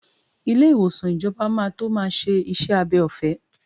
Ilé ìwòsàn ìjọba máa tó máa ṣe iṣẹ́ abẹ ọ̀fẹ́.